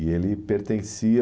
E ele pertencia...